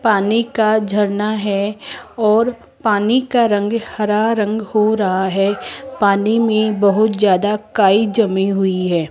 पानी का झरना है और पानी का रंग हरा रंग हो रहा है पानी मे बहोत ज्यादा काई जमी हुई है।